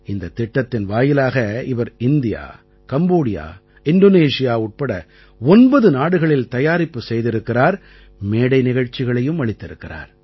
இந்தத் திட்டத்தின் வாயிலாக இவர் இந்தியா கம்போடியா இந்தோனேசியா உட்பட 9 நாடுகளில் தயாரிப்பு செய்திருக்கிறார் மேடை நிகழ்ச்சிகளையும் அளித்திருக்கிறார்